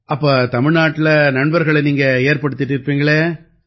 அப்ப தமிழ்நாட்டுல நண்பர்களை நீங்க ஏற்படுத்திட்டு இருப்பீங்களே